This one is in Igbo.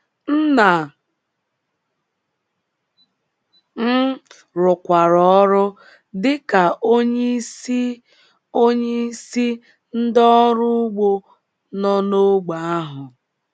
Nna m rụkwara ọrụ dị ka onyeisi onyeisi ndị ọrụ ugbo nọ n’ógbè ahụ.